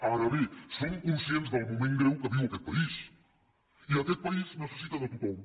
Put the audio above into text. ara bé som conscients del moment greu que viu aquest país i aquest país necessita de tothom